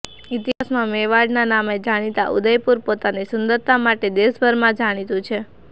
ઇતિહાસમાં મેવાડના નામે જાણીતા ઉદયપુર પોતાની સુંદરતા માટે દેશભરમાં જાણીતું છે